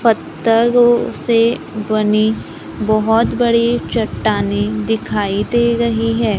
पत्थरों से बनी बहोत बड़ी चट्टाने दिखाई दे रही है।